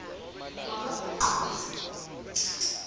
wakabhocoza